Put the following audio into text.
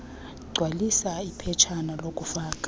gcwalisa iphetshana lokufaka